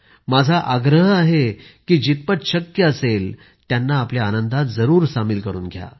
माझा आग्रह आहे की जितपत शक्य असेल त्यांना आपल्या आनंदात जरूर सामिल करून घ्या